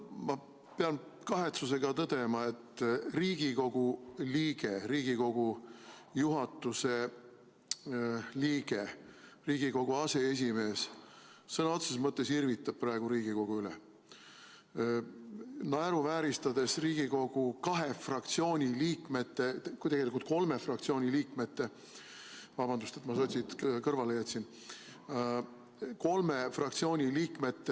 Ma pean kahetsusega tõdema, et Riigikogu liige, Riigikogu juhatuse liige, Riigikogu aseesimees sõna otseses mõttes irvitab praegu Riigikogu üle, naeruvääristades Riigikogu kahe fraktsiooni liikmete, tegelikult kolme fraktsiooni liikmete – vabandust, et ma sotsid kõrvale jätsin!